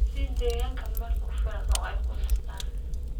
Sii digaagga meel ku filan oo ay ku nastaan.